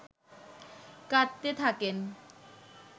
কাঁদতে থাকেন